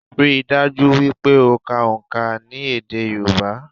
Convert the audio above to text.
Ríi dájú wípé o ka òǹkà ní èdè Yorùbá